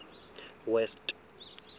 west